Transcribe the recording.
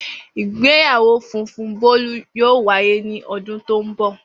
Igbeyawo funfun Bolu yoo waye ni ọdun to nbọ.